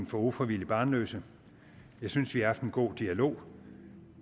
for ufrivilligt barnløse jeg synes vi har haft en god dialog